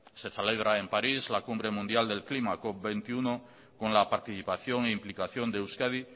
se celebra en parís la cumbre mundial del clima cop veintiuno con la participación e implicación de euskadi